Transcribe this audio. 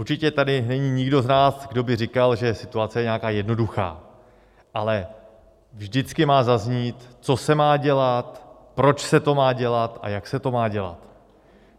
Určitě tady není nikdo z nás, kdo by říkal, že situace je nějaká jednoduchá, ale vždycky má zaznít, co se má dělat, proč se to má dělat a jak se to má dělat.